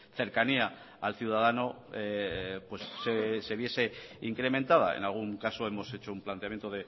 cercanía al ciudadano se viese incrementada en algún caso hemos hecho un planteamiento